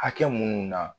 Hakɛ minnu na